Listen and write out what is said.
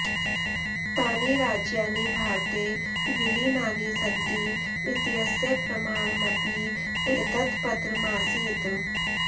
तानि राज्यानि भारते विलीनानि सन्ति इत्यस्य प्रमाणमपि एतत् पत्रमासीत्